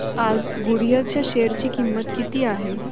आज गुडइयर च्या शेअर ची किंमत किती आहे